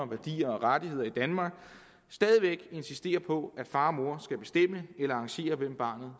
værdier og rettigheder i danmark stadig væk insistere på at far og mor skal bestemme eller arrangere hvem barnet